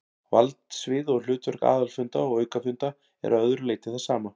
Valdsvið og hlutverk aðalfunda og aukafunda er að öðru leyti það sama.